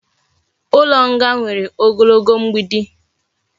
Ulo nga nwere ogologo mgbidi